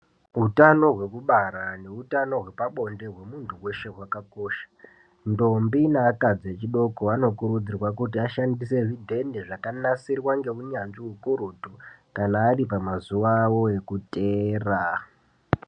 Utano hwekubara neutano hwebabonde hwemuntu weshe hwakakosha. Ndombi neakadzi echidoko anokurudzirwa kuti ashandise zvidhende zvakanasirwa ngeunyanzvi hukurutu kana ari pamazuva avo ekuteera.